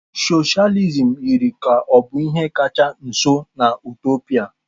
Socialism yiri ka ọ bụ ihe kacha nso na Utopia.